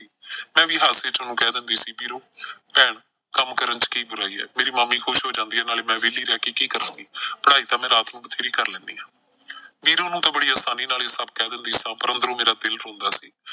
ਮੈਂ ਵੀ ਹਾਸੇ ਚ ਉਹਨੂੰ ਕਹਿ ਦਿੰਦੀ ਸੀ ਵੀਰੋ ਭੈਣ ਕੰਮ ਕਰਨ ਚ ਕੀ ਬੁਰਾਈ ਐ, ਮੇਰੀ ਮਾਮੀ ਖੁਸ਼ ਹੋ ਜਾਂਦੀ ਐ ਨਾਲੇ ਮੈਂ ਵਿਹਲੀ ਰਹਿ ਕੇ ਕੀ ਕਰਾਂਗੀ। ਪੜ੍ਹਾਈ ਤਾਂ ਮੈਂ ਰਾਤ ਨੂੰ ਬਥੇਰੀ ਕਰ ਲੈਨੀ ਆਂ। ਵੀਰੋ ਨੂੰ ਤਾਂ ਬੜੀ ਆਸਾਨੀ ਨਾਲ ਇਹ ਸਭ ਕਹਿ ਦਿੰਦੀ ਸਾਂ ਪਰ ਅੰਦਰੋਂ ਮੇਰਾ ਦਿਲ ਰੋਂਦਾ ਸੀ।